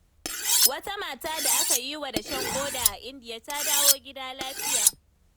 Wata mata da aka yiwa dashen ƙoda a indiya ta dawo gida lafiya.